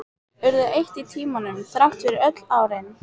Urðu eitt í tímanum, þrátt fyrir öll árin.